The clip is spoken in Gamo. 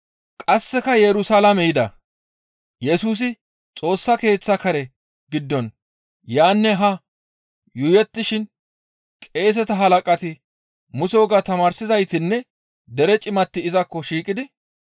Qasseka Yerusalaame yida; Yesusi Xoossa Keeththa kare giddon yaanne haa yuuyettishin qeeseta halaqati, Muse wogaa tamaarsizaytinne dere cimati izakko shiiqidi,